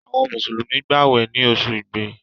Àwọn Mùsùlùmí gbàwè ní oṣù igbe